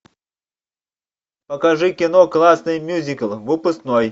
покажи кино классный мюзикл выпускной